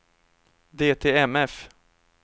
DTMF